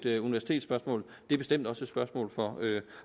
et universitetsspørgsmål det er bestemt også et spørgsmål for